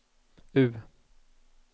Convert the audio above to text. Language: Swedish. U